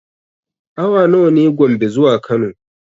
Awa nawa ne Gombe zuwa Kano?